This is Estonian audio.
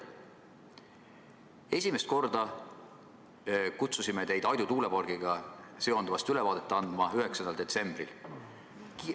Esimest korda kutsusime teid Aidu tuulepargiga seonduvast ülevaadet andma 9. detsembril.